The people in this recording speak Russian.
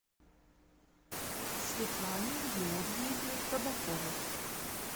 светлане георгиевне табаковой